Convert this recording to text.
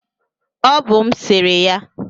ọ bụ m sere ya